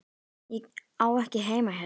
Ég á ekki heima hérna.